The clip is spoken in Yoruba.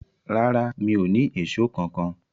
Rárá, mi o ni Èṣó kankan.